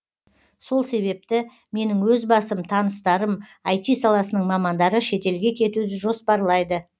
сол себепті менің өз басым таныстарым іт саласының мамандары шетелге кетуді жоспарлайды